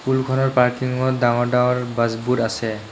স্কুলখনৰ পাৰ্কিংত ডাঙৰ ডাঙৰ বাছবোৰ আছে।